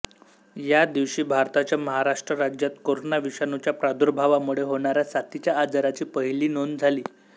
या दिवशी भारताच्या महाराष्ट्र राज्यात कोरोना विषाणूच्या प्रादुर्भावामुळे होणाऱ्या साथीच्या आजाराची पहिली नोंद झाली